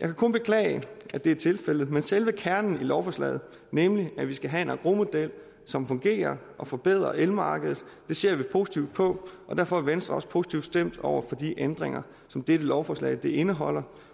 jeg kan kun beklage at det er tilfældet men selve kernen i lovforslaget nemlig at vi skal have en engrosmodel som fungerer og forbedrer elmarkedet ser vi positivt på derfor er venstre også positivt stemt over for de ændringer som dette lovforslag indeholder